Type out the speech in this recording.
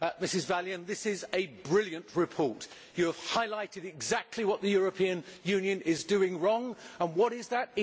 Mrs Vălean, this is a brilliant report, in which you highlight exactly what the European Union is doing wrong and what is that?